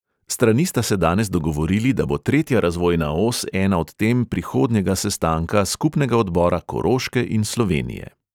Strani sta se danes dogovorili, da bo tretja razvojna os ena od tem prihodnjega sestanka skupnega odbora koroške in slovenije.